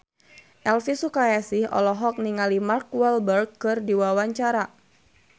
Elvi Sukaesih olohok ningali Mark Walberg keur diwawancara